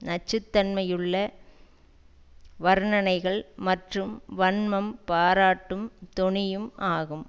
நச்சுத்தன்மையுள்ள வர்ணனைகள் மற்றும் வன்மம் பாராட்டும் தொனியும் ஆகும்